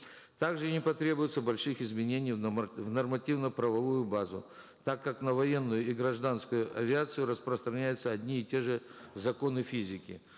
также не потребуется больших изменений в нормативно правовую базу так как на военную и гражданскую авиацию распространяются одни и те же законы физики